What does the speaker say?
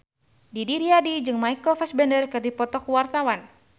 Didi Riyadi jeung Michael Fassbender keur dipoto ku wartawan